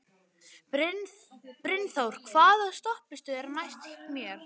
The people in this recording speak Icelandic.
Brynþór, hvaða stoppistöð er næst mér?